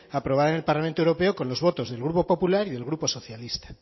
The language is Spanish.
aprobada en el parlamento europeo con los votos del grupo popular y del grupo socialista